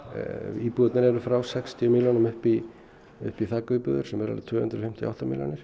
íbúðirnar eru frá sextíu milljónum upp í upp í þakíbúðir sem eru á tvö hundruð fimmtíu og átta milljónir